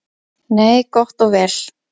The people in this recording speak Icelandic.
Nei, gott og vel.